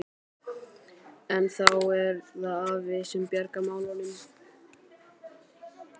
En þá er það afi sem bjargar málunum.